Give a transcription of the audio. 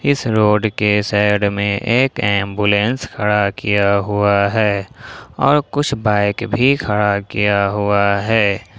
इस रोड के साइड में एक एंबुलेंस खड़ा किया हुआ है और कुछ बाइक भी खड़ा किया हुआ है।